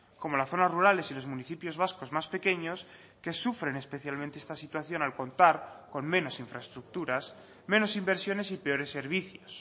como las zonas rurales y los municipios vascos más pequeños que sufren especialmente esta situación al contar con menos infraestructuras menos inversiones y peores servicios